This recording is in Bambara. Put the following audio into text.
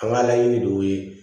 An ka laɲini de y'o ye